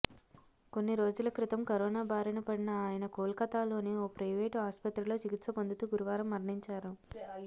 కొన్ని రోజుల క్రితం కరోనా బారిన పడిన ఆయన కోల్కతాలోని ఓ ప్రైవేటు ఆస్పత్రిలో చికిత్స పొందుతూ గురువారం మరణించారు